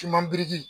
Kiman biriki